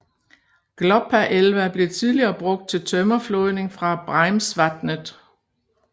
Gloppeelva blev tidligere brugt til tømmerflådning fra Breimsvatnet